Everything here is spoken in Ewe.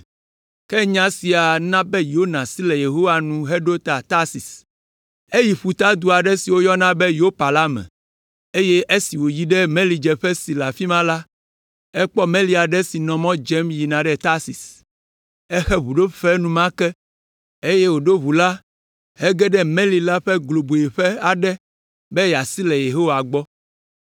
Ke nya sia na Yona si le Yehowa nu heɖo ta Tarsis. Eyi ƒutadu aɖe si woyɔna be Yopa la me, eye esi wòyi ɖe melidzeƒe si le afi ma la, ekpɔ meli aɖe si nɔ mɔ dzem yina ɖe Tarsis. Exe ʋuɖofe enumake, eye wòɖo ʋu la hege ɖe meli la ƒe globoeƒe aɖe be yeasi le Yehowa gbɔ.